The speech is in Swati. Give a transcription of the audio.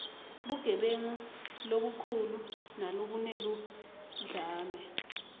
bugebengu lobukhulu nalobuneludlame